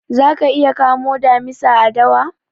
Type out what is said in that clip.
Za ka iya kamo damisa a dawa?